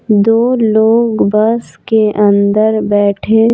दो लोग बस के अंदर बैठे--